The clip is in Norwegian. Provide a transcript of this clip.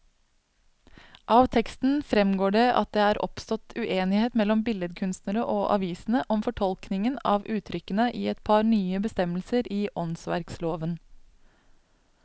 Av teksten fremgår det at det er oppstått uenighet mellom billedkunstnerne og avisene om fortolkningen av uttrykkene i et par nye bestemmelser i åndsverkloven.